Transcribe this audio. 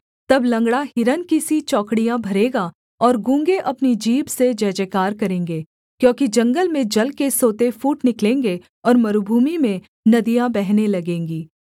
तब लँगड़ा हिरन की सी चौकड़ियाँ भरेगा और गूँगे अपनी जीभ से जयजयकार करेंगे क्योंकि जंगल में जल के सोते फूट निकलेंगे और मरूभूमि में नदियाँ बहने लगेंगी